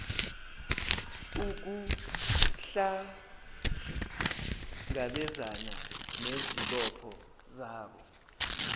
ukuhlangabezana nezibopho zabo